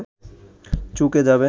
চুকে যাবে